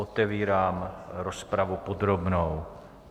Otevírám rozpravu podrobnou.